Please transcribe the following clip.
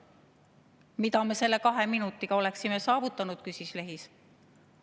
"Mida me selle kahe minutiga oleksime saavutanud?" küsis Lehis.